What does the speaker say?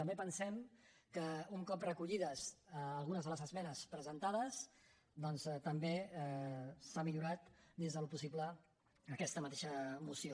també pensem que un cop recollides algunes de les esmenes presentades doncs també s’ha millorat dins del possible aquesta mateixa moció